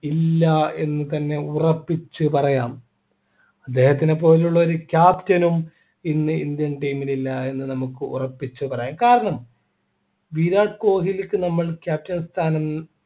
ഇല്ല എന്ന് തന്നെ ഉറപ്പിച്ചു പറയാം ഇദ്ദേഹത്തിന് പോലുള്ള ഒരു captain നും ഇന്ന് indian team നില്ല എന്ന് നമുക്ക് ഉറപ്പിച്ചു പറയാം കാരണം വിരാട് കോഹ്‌ലിക്കു നമ്മൾ captain സ്ഥാനം